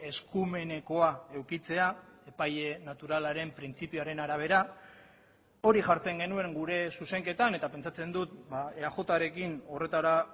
eskumenekoa edukitzea epaile naturalaren printzipioaren arabera hori jartzen genuen gure zuzenketan eta pentsatzen dut eajrekin horretara